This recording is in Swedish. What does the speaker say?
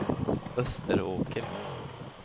Österåker